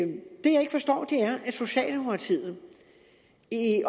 socialdemokratiet